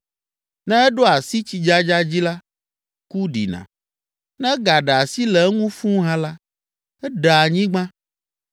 Ne eɖo asi tsidzadza dzi la, ku ɖina, ne egaɖe asi le eŋu fũu hã la, eɖea anyigba